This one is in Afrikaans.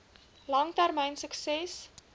lang termyn sukses